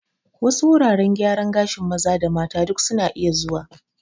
Wasu wuraren gyaran gashin maza da mata duk suna iya zuwa